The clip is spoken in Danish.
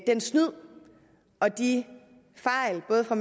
snyd og de fejl både fra